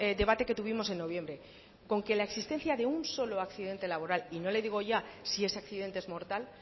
debate que tuvimos en noviembre con que la existencia de un solo accidente laboral y no le digo ya si ese accidente es mortal